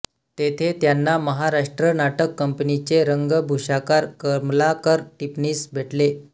तेथे त्यांना महाराष्ट्र नाटक कंपनीचे रंगभूषाकार कमलाकर टिपणीस भेटले